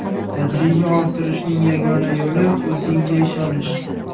Tajriba orttirishning yagona yo‘li o‘zingga ishonish.